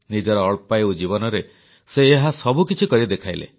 ନିଜର ଅଳ୍ପାୟୁ ଜୀବନରେ ସେ ଏହା ସବୁକିଛି କରି ଦେଖାଇଲେ